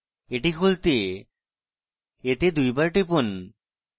এটি খুলতে এতে দুইবার টিপুন